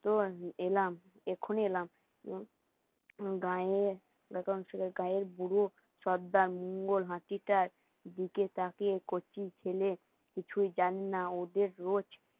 এলাম এক্ষুনি এলাম সর্দার, মঙ্গল হাঁটিটার দিকে তাকিয়ে কচি ছেলে কিছুই জানি না ওদের রোজ